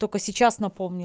только сейчас напомни